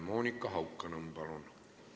Monika Haukanõmm, palun!